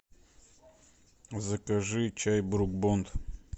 закажи чай брук бонд